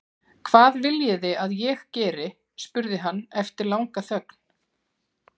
Hvað viljiði að ég geri? spurði hann eftir langa þögn.